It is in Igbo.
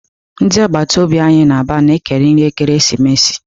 Ndị agbata obi anyị na Aba na-ekeri nri ekeresimesi.